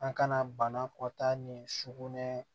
An kana banakɔta ni sukunɛ